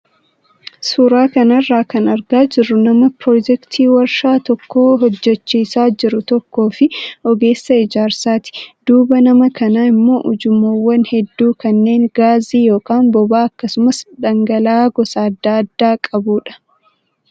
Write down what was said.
Suuraa kanarraa kan argaa jirru nama piroojeektii waarshaa tokko hojjachiisaa jiru tokkoo fi ogeessa ijaarsaati. Duuba nama kanaa immoo ujummoowwan hedduu kanneen gaasii yookaan boba'aa akkasumas dhangala'aa gosa adda addaa qabudha.